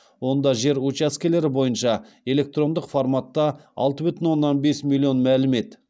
онда жер учаскелері бойынша электрондық форматта алты бүтін оннан бес миллион мәлімет